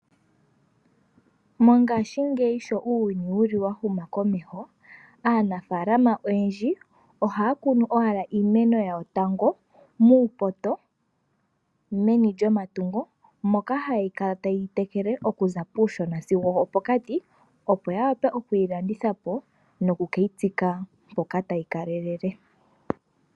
Mongaashingeyi uuyuni sho wa huma komeho aanafaalama oyendji ohaya kunu owala tango iimeno yawo muupoto meni lyomatungo moka haya kala taye yi tekele okuza kuushona sigo opokati, opo ya wape oku keyi landitha po noku keyi tsika mpoka tayi ka lelele.